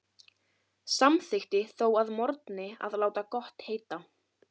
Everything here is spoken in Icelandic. Samþykkti þó að morgni að láta gott heita.